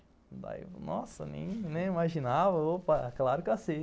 Eu nem imaginava, mas claro que eu aceito.